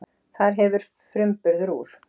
Þar hefur framburður úr